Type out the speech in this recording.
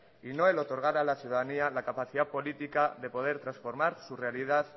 y no el otorgar a la ciudadanía la capacidad política de poder transformar su realidad